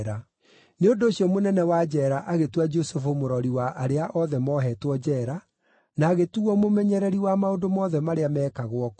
Nĩ ũndũ ũcio mũnene wa njeera agĩtua Jusufu mũrori wa arĩa othe moohetwo njeera, na agĩtuuo mũmenyereri wa maũndũ mothe marĩa meekagwo kũu.